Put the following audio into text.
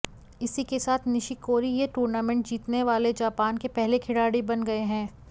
इसी के साथ निशिकोरी यह टूर्नामेंट जीतने वाले जापान के पहले खिलाड़ी बन गए हैं